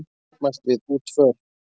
Mótmælt við útför